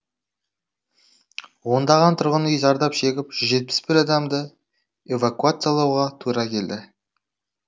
ондаған тұрғын үй зардап шегіп жүз жетпіс бір адамды эвакуациялауға тура келді